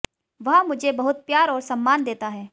वह मुझे बहुत प्यार और सम्मान देता है